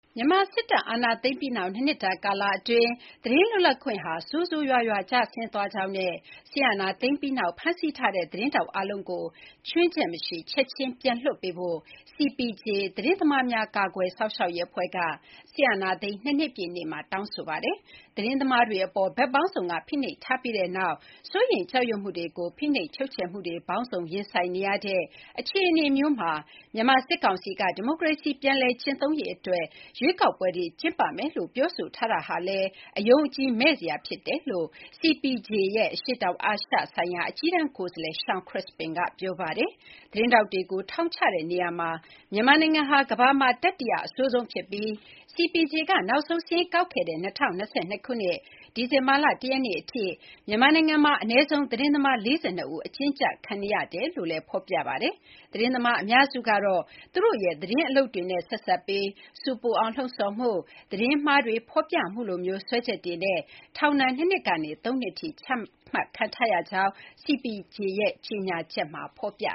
မြန်မာစစ်တပ်က အာဏာသိမ်းပြီးနောက် ၂ နှစ်တာကာလအတွင်း သတင်းလွတ်လပ်ခွင့်ဟာ ဆိုးဆိုးရွားရွားကျဆင်းသွားကြောင်းနဲ့ စစ်အာဏာသိမ်းပြီးနောက် ဖမ်းဆီးထားတဲ့ သတင်းထောက်အားလုံးကို ခြွင်းချက်မရှိ ချက်ချင်းပြန်လွှတ်ပေးဖို့ CPJ သတင်းသမားများ ကာကွယ်စောင့်ရှောက်ရေးအဖွဲ့က စစ်အာဏာသိမ်း ၂ နှစ်ပြည့်နေ့မှာ တောင်းဆိုလိုက်ပါတယ်။ သတင်းသမားတွေအပေါ် ဘက်ပေါင်းစုံကဖိနှိပ်ထားပြီးနောက် စိုးရိမ်ကြောက်ရွံ့မှုတွေနဲ့ ဖိနှိပ်ချုပ်ချယ်မှုတွေ ပေါင်းစုံရင်ဆိုင်နေရတဲ့အခြေအနေမျိုးမှာ မြန်မာစစ်ကောင်စီက ဒီမိုကရေစီ ပြန်လည်ကျင့်သုံးရေးအတွက် ရွေးကောက်ပွဲတွေကျင်းပမယ်လို့ ပြောဆိုထားတာလည်း အယုံအကြည်မဲ့စရာ ဖြစ်တယ်လို့လည်း CPJ ရဲ့ အရှေ့တောင်အာရှဆိုင်ရာ အကြီးတန်းကိုယ်စားလှယ် Shawn Crispin က ပြောပါတယ်။ သတင်းထောက်တွေကိုထောင်ချတဲ့နေရာမှာ မြန်မာနိုင်ငံဟာ ကမ္ဘာမှာ တတိယအဆိုးဆုံးဖြစ်ပြီး CPJ က နောက်ဆုံးစာရင်းကောက်ခဲ့တဲ့ ၂၀၂၂ ခုနှစ် ဒီဇင်ဘာလ ၁ ရက်နေ့ အထိ မြန်မာနိုင်ငံမှာ အနည်းဆုံး သတင်းသမား ၄၂ ဦး အကျဉ်းကျခံနေရကြောင်းလည်း ဖော်ပြပါတယ်။ သတင်းသမားအများစုကတော့ သူတို့ရဲ့သတင်းအလုပ်တွေနဲ့ ဆက်စပ်ပြီး ဆူပူအောင်လှုံ့ဆော်မှု၊ သတင်းမှာတွေ ဖော်ပြမှုလိုမျိုး စွဲချက်တွေနဲ့ ထောင်ဒဏ် ၂ နှစ်ကနေ ၃ နှစ်ထိ ချမှတ်ခံထားရကြောင်းလည်း CPJ ရဲ့ ကြေညာချက်မှာ ဖော်ပြ